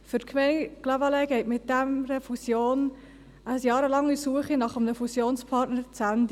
Für die Gemeinde Clavaleyres geht mit dieser Fusion eine jahrelange Suche nach einem Fusionspartner zu Ende.